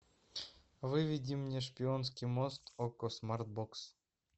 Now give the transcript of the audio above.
выведи мне шпионский мост окко смарт бокс